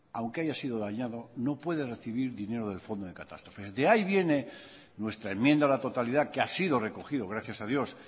aunque haya sido dañado no puede recibir dinero del fondo de catástrofes de ahí viene nuestra enmienda a la totalidad que ha sido recogido gracias a dios